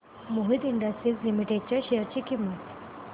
Mohit industries limited च्या share ची किंमत